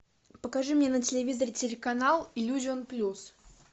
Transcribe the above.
покажи мне на телевизоре телеканал иллюзион плюс